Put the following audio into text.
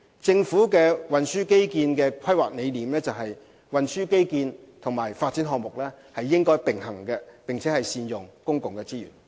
政府的運輸基建規劃理念是，運輸基建和發展項目應該並行，並善用公共資源。